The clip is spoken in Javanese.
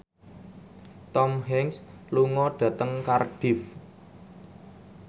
Tom Hanks lunga dhateng Cardiff